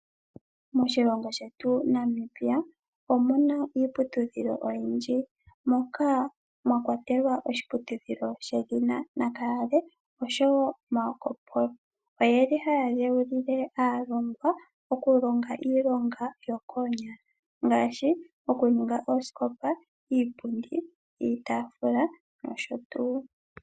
Moshilongo shet Namibia, omuna iiputudhilo oyindji, moka mwa kwatelwa, oshiputudhilo, she dhina Nakayale osho wo Marco mpolo. Oye li ha ya dheulile aalongwa, oku longa yokoonyala ngaashi oku ninga oosikopa, iipundi, iitafula nosho tuu.